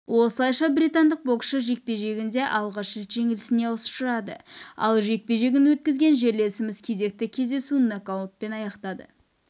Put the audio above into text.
осылайша британдық боксшы жекпе-жегінде алғаш рет жеңілісіне ұшырады ал жекпе-жегін өткізген жерлесіміз кезекті кездесуін нокаутпен аяқтады